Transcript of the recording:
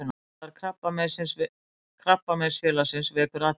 Leitarstarf Krabbameinsfélagsins vekur athygli